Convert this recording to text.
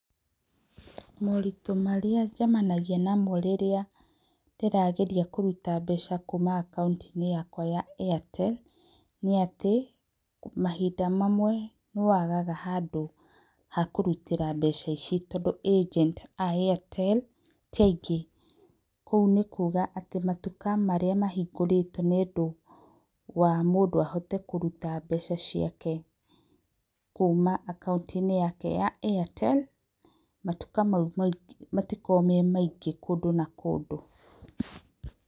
Moritũ marĩa njemanagia namo rĩrĩa ndĩrageria kũruta mbeca kuuma akaũnti-inĩ yakwa ya Airtel, nĩatĩ, mahinda mamwe nĩ wagaga handũ hakũrutĩra mbeca ici tondũ agent a Airtel tiaingĩ. Ũguo nĩkuga matuka marĩa mahingũrĩtwo nĩũndũ wa mũndũ ahote kũruta mbeca ciake kuuma akauntĩ-inĩ yake ya Airtel, matuka mau matikoragwo memaingĩ kũndũ na kũndũ.